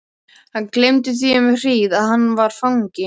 Hann gleymdi því um hríð að hann var fangi.